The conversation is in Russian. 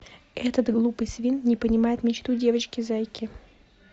этот глупый свин не понимает мечту девочки зайки